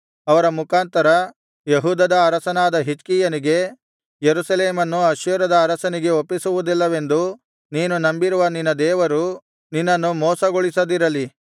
ಅವರ ಮುಖಾಂತರ ಯೆಹೂದದ ಅರಸನಾದ ಹಿಜ್ಕೀಯನಿಗೆ ಯೆರೂಸಲೇಮನ್ನು ಅಶ್ಶೂರದ ಅರಸನಿಗೆ ಒಪ್ಪಿಸುವುದಿಲ್ಲವೆಂದು ನೀನು ನಂಬಿರುವ ನಿನ್ನ ದೇವರು ನಿನ್ನನ್ನು ಮೋಸಗೊಳಿಸದಿರಲಿ